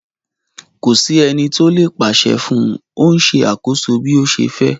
Ko si eni ti o le paṣẹ fun u, o n ṣe akoso bi o ṣe fẹ